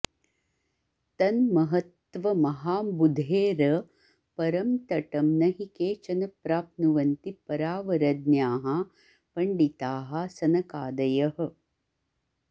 तन्महत्त्वमहाम्बुधेरपरं तटं न हि केचन प्राप्नुवन्ति परावरज्ञाः पण्डिताः सनकादयः